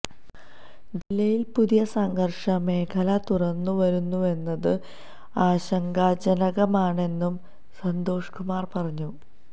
ജില്ലയില് പുതിയ സംഘര്ഷമേഖല തുറന്ന് വരുന്നുവെന്നത് ആശങ്കാജനകമാണെന്നും സന്തോഷ് കുമാര് പറഞ്ഞു